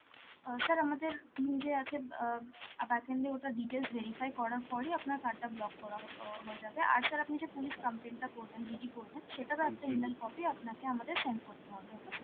অ্যাঁ sir আমাদের team যে আছে, অ্যাঁ backend এ, ওটা details verify করার পরই আপনার card টা block করা ও~ হয়ে যাবে, আর sir আপনি যে police complain টা করবেন, GD করবেন, সেটারও একটা E-mail copy আপনাকে আমাদের send করতে হবে, okay sir?